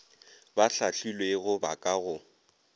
ba hlahlilwego ba ka go